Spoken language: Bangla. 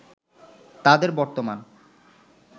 তাদের বর্তমান